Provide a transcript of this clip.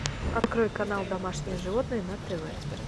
открой канал домашние животные на тв